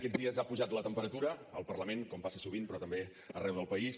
aquests dies ha pujat la temperatura al parlament com passa sovint però també arreu del país